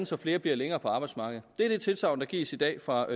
så flere bliver længere på arbejdsmarkedet det er det tilsagn der gives i dag fra